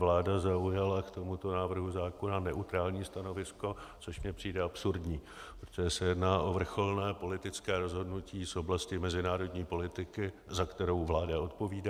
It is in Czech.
Vláda zaujala k tomuto návrhu zákona neutrální stanovisko, což mně přijde absurdní, protože se jedná o vrcholné politické rozhodnutí z oblasti mezinárodní politiky, za kterou vláda odpovídá.